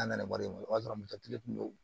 An nana wari sɔrɔ kun do